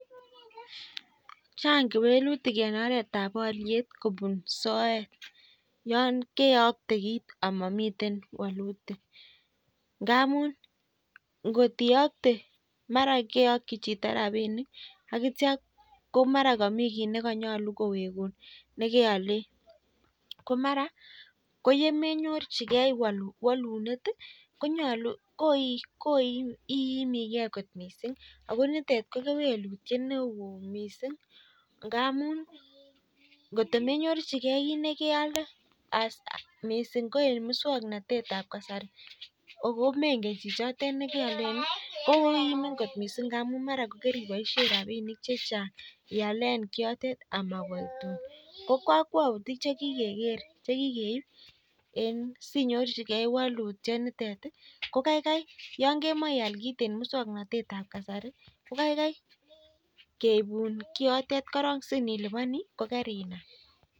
Chang kewelitik ngamuu ngiyoktee ako mamii walitik ngamuu komenyorchikei walitiet imikei missing ngamuu maraa kaibashei rabishek chechang ngunoo ko kaikai keibun siliban ko kainam